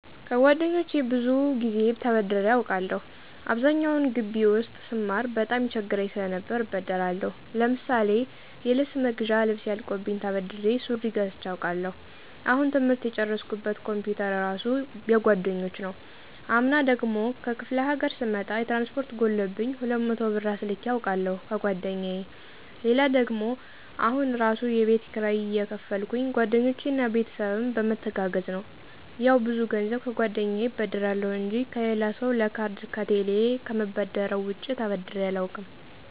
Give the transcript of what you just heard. ከጓደኞቼ ብዙ ጊዜ ተበድሬ አውቃለሁ። አብዛኛውን ጊቢ ውስጥ ስማር በጣም ይቸግረኝ ሰለነበር እበደራለሁ። ለምሳሌ የልብስ መግዣ ልብሴ አልቆብኝ ተበድሬ ሱሪ ገዝቸ አውቃለሁ። አሁን ትምህርት የጨረስኩበት ኮምፒውተር እራሱ የጓደኞች ነው። አምና ደግሞ ከክፍለ ሀገር ስመጣ የትራንስፖርት ጎሎብኝ 200 ብር አስልኬ አውቃለሁ ከጓደኛየ። ሌላ ደግሞ አሁን እራሱ የቤት ኪራይ የከፈሉልኝ ጓደኞቼ እና ቤተሰብም በመተጋገዝ ነው። ያው ብዙ ገንዘብ ከጓደኛየ እበደራለሁ እንጂ ከሌላ ሰው ለካርድ ከቴሌ ከምበደረው ውጭ ተበድሬ አላውቅም።